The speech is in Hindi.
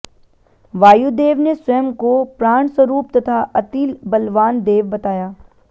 वायुदेव ने स्वयं को प्राणस्वरूप तथा अतिबलवान देव बताया